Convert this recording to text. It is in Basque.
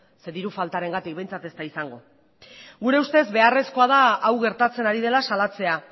zeren diru faltarengatik behintzat ez da izango gure ustez beharrezkoa da hau gertatzen ari dela salatzea